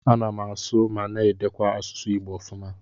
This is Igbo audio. Ana m asụ ma na-edekwa asụsụ Igbo ofuma.